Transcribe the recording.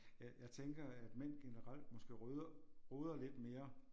Jeg jeg tænker at mænd generelt måske rydder roder lidt mere